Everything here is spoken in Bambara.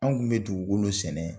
An tun bɛ dugukolo sɛnɛ